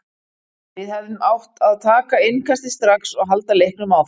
Við hefðum átt að taka innkastið strax og halda leiknum áfram.